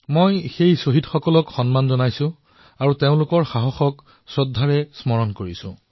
মই সেই শ্বহীদসকললৈ সেৱা জনাইছো আৰু তেওঁলোকৰ শ্ৰদ্ধাপূৰ্বক স্মৰণ কৰিছো